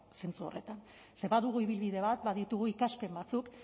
zentzu horretan badugu ibilbide bat baditugu ikaspen batzuk